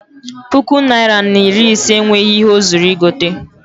Puku naịra na iri ise enweghị ihe o zuru igote.